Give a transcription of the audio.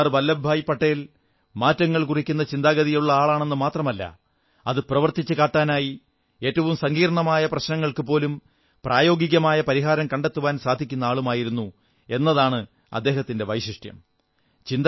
സർദ്ദാർ വല്ലഭഭായി പട്ടേൽ മാറ്റങ്ങൾ കുറിക്കുന്ന ചിന്താഗതിയുള്ളയാളെന്ന് മാത്രമല്ല അത് പ്രവർത്തിച്ച് കാട്ടാനായി ഏറ്റവും സങ്കീർണ്ണമായ പ്രശ്നങ്ങൾക്കുപോലും പ്രായോഗികമായ പരിഹാരം കണ്ടെത്തുവാൻ സാധിക്കുന്ന ആളുമായിരുന്നു എന്നതാണ് അദ്ദേഹത്തിന്റെ വൈശിഷ്ട്യം